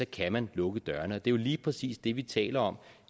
kan man lukke dørene og det er jo lige præcis det vi taler om